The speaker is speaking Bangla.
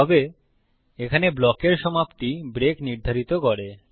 তবে এখানে ব্লকের সমাপ্তি ব্রেক নির্ধারিত করে